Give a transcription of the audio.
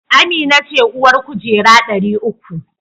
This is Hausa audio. Amina ce uwar kujera dari uku